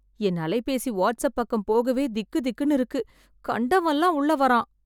என் அலைப்பேசி வாட்சப் பக்கம் போகவே திக்கு திக்குனு இருக்கு. கண்டவன்லாம் உள்ள வரான்